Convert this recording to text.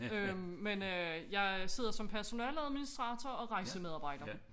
Øh men øh jeg sidder som personaleadministrator og rejsemedarbejder